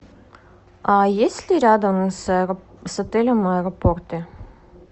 а есть ли рядом с отелем аэропорты